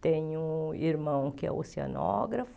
tenho um irmão que é oceanógrafo.